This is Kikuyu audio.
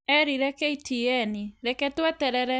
erire KTN "Reke tweterere"